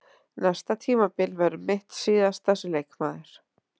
Næsta tímabil verður mitt síðasta sem leikmaður.